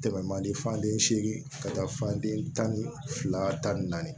Tɛmɛ man di fande seegin ka taa fan den tan ni fila ta ni naani